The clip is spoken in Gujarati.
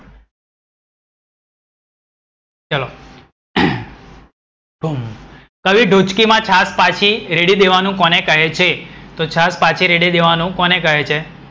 કવિ ઢોચકીમાં છાસ પાછી રેડી દેવાનું કોને કહે છે? તો છાસ પાછી રેડી દેવાનું કોને કહે છે?